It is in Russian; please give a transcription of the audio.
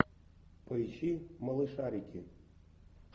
поищи малышарики